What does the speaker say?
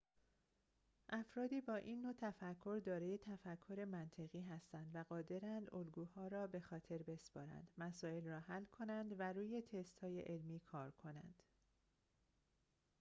افرادی با این نوع تفکر دارای تفکر منطقی هستند و قادرند الگوها را بخاطر بسپارند مسائل را حل کنند و روی تست‌های علمی کار کنند